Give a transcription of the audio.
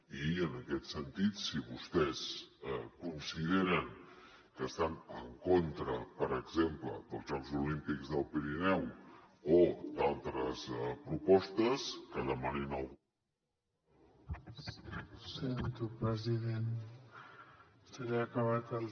i en aquest sentit si vostès consideren que estan en contra per exemple dels jocs olímpics del pirineu o d’altres propostes que demanin el